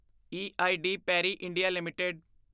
E I D Parry India LTD